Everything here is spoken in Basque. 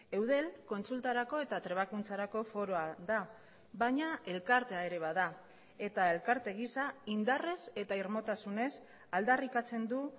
eudel kontsultarako eta trebakuntzarako foroa da baina elkartea ere bada eta elkarte gisa indarrez eta irmotasunez aldarrikatzen du